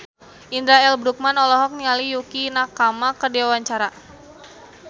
Indra L. Bruggman olohok ningali Yukie Nakama keur diwawancara